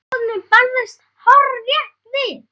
Áhöfnin brást hárrétt við.